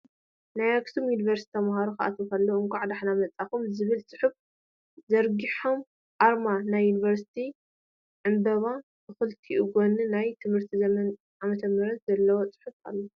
ናይ አክሱም ዩኒቨርሲቲ ተምሃሮ ክኣትዉ ከለዉ እንካዕ ደሓን መፃኩም ዝብል ፅሑፍ ዘርጉሖም ኣርማ ናይዩኒቨርሲቲን ዕምበባ ብክልቲኡ ጎኒ ናይ ትምህርቲ ዘመንን ዓ/ም ዘለዎ ፅሑፍ ኣሎ።